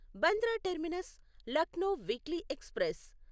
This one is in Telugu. Bandra terminus Lucknow weekly express